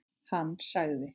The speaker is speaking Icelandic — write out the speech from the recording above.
Hann sagði: